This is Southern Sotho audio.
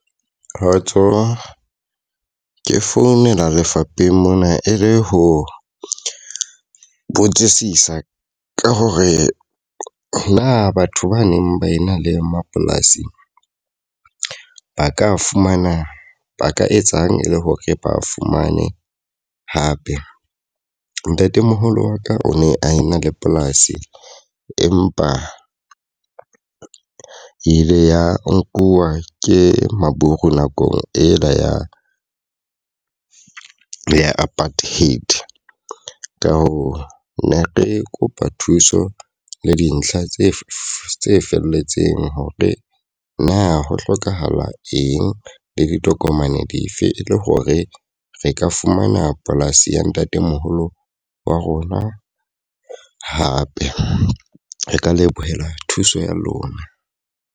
Kgotso, ke founela lefapheng mona e le ho botsisisa ka hore na batho ba neng ba ena le mapolasing ba ka fumana ba ka etsang e le hore ba fumane hape? Ntatemoholo wa ka o ne a ena le polasi empa ile ya nkuwa ke maburu nakong e la ya ya apartheid. Ka hoo, ne re kopa thuso le dintlha tse felletseng hore na ho hlokahala eng le ditokomane dife e le hore re ka fumana polasi ya ntatemoholo wa rona hape? Re ka lebohela thuso ya lona.